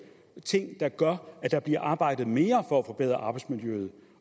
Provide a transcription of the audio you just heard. ting der gør at der bliver arbejdet mere for at forbedre arbejdsmiljøet